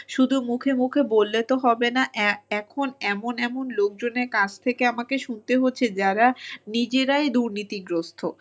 শুধু মুখে মুখে বললে তো হবে না এখন এমন এমন লোকজনের কাছ থেকে আমাকে শুনতে হচ্ছে যারা নিজেরাই দুর্নীতিগ্রস্ত